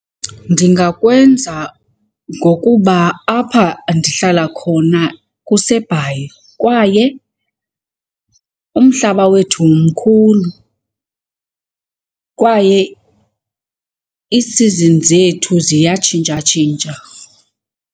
Ndingakwenza ngokuba apha ndihlala khona kuseBhayi kwaye umhlaba wethu mkhulu, kwaye iisizini zethu ziyatshintshatshintsha.